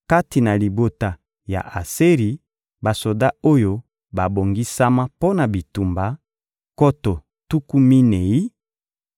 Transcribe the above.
kati na libota ya Aseri: basoda oyo babongisama mpo na bitumba, nkoto tuku minei;